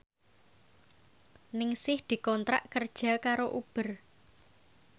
Ningsih dikontrak kerja karo Uber